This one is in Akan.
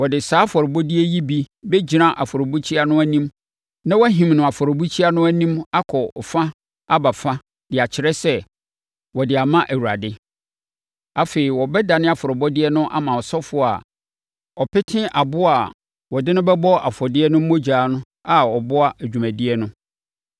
Wɔde saa afɔrebɔdeɛ yi bi bɛgyina afɔrebukyia no anim na wɔahim no afɔrebukyia no anim akɔ fa aba fa de akyerɛ sɛ, wɔde ama Awurade. Afei, wɔbɛdane afɔrebɔdeɛ no ama ɔsɔfoɔ a ɔpete aboa a wɔde no bɛbɔ afɔdeɛ no mogya a ɔboa dwumadie no.